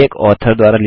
3